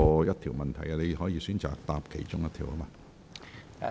局長，你可以選擇回答其中一項。